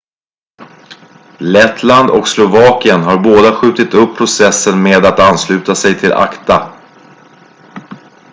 lettland och slovakien har båda skjutit upp processen med att ansluta sig till acta